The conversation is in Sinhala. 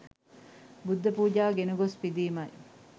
බුද්ධ පූජාව ගෙන ගොස් පිදීමයි.